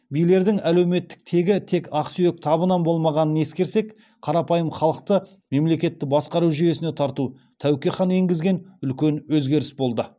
билердің әлеуметтік тегі тек ақсүйек табынан болмағанын ескерсек қарапайым халықты мемлекетті басқару жүйесіне тарту тәуке хан енгізген үлкен өзгеріс болды